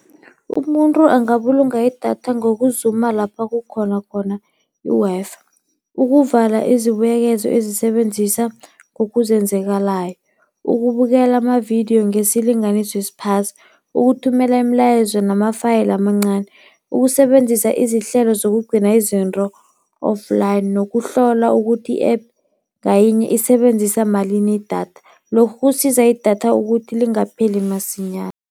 Umuntu angabulunga idatha ngokuzuma lapha kukhona khona i-Wi-Fi, ukuvala izibuyekezo ezisebenzisa ngokuzenzakalayo, ukubukela amavidiyo ngesilinganiso esiphasi, ukuthumela imilayezo nama-file amancani, ukusebenzisa izihlelo zokugcina izinto offline nokuhlola ukuthi i-app ngayinye isebenzisa malini idatha. Lokhu kusiza idatha ukuthi lingapheli masinyana.